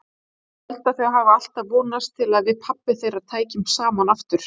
Ég held þau hafi alltaf vonast til að við pabbi þeirra tækjum saman aftur.